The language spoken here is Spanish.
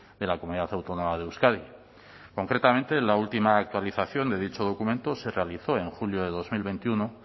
de la comunidad autónoma de euskadi concretamente en la última actualización de dicho documento se realizó en junio de dos mil veintiuno